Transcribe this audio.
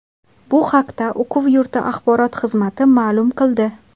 Bu haqda o‘quv yurti axborot xizmati ma’lum qildi .